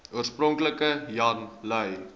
oorspronklik jan lui